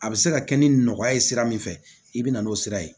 A bɛ se ka kɛ ni nɔgɔya ye sira min fɛ i bɛ na n'o sira ye